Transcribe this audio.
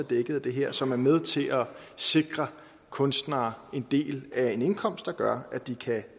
dækket af det her som er med til at sikre kunstnere en del af en indkomst der gør at de kan